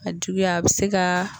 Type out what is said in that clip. a juguya a bɛ se ka